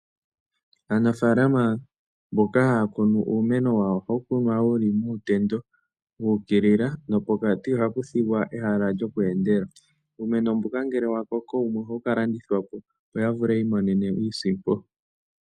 Aanafalama mboka haya kunu uumeno wawo ohawu kunwa yi li muutendo wu ukilila nopokati ohapu thigwa ehala lyokweendela. Uumeno mbuka ngele wa koko wumwe ohawu ka landithwa po, opo ya vule yi imonene iisimpo.